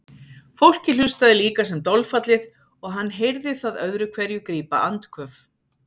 Fólkið hlustaði líka sem dolfallið og hann heyrði það öðru hverju grípa andköf.